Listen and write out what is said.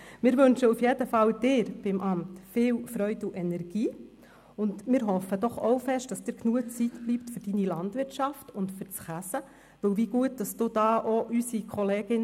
Wir wünschen Ihnen auf jeden Fall viel Freude und Energie, und wir hoffen sehr, dass Ihnen genug Zeit bleibt für Ihre Landwirtschaft und für das Käsen.